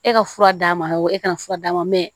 E ka fura d'a ma e ka fura d'a ma mɛ